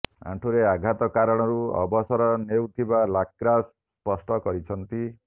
ଆଣ୍ଠୁରେ ଆଘାତ କାରଣରୁ ଅବସର ନେଉଥିବା ଲାକ୍ରା ସ୍ପଷ୍ଟ କରିଛନ୍ତି